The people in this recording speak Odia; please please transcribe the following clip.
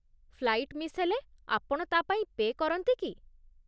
ଫ୍ଲାଇଟ୍ ମିସ୍ ହେଲେ ଆପଣ ତା'ପାଇଁ ପେ' କରନ୍ତି କି?